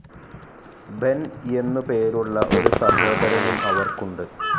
Ben എന്നു പേരുള്ള ഒരു സഹോദരനും അവർക്കുണ്ട്.